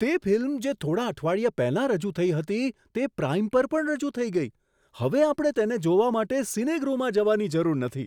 તે ફિલ્મ જે થોડા અઠવાડિયા પહેલા રજૂ થઈ હતી તે પ્રાઈમ પર પણ રજૂ થઈ ગઈ! હવે આપણે તેને જોવા માટે સિનેગૃહમાં જવાની જરૂર નથી!